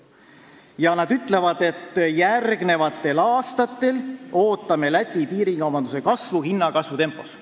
Ja nad ütlevad veel, et järgmistel aastatel on oodata Eesti-Läti piirikaubanduse kasvu hinnatõusu tempos.